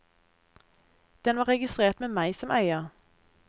Den var registrert med meg som eier.